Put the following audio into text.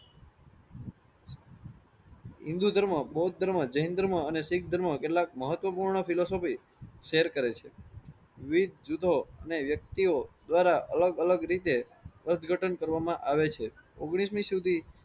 હિન્દૂ ધર્મ, બૌધ ધર્મ, જૈન ધર્મ અને શીખ ધર્મ કેટલાક મહત્વ પૂર્ણ philosopy share કરે છે. વિવેક જુદો અને વ્યક્તિઓ દ્વારા અલગ રીતે અર્થગતં કરવામાં આવે છે. ઓગણીસ મી સુધી